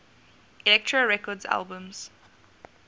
elektra records albums